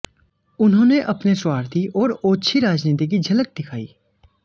उन्होंने अपने स्वार्थी और ओछी राजनीति की झलक दिखाई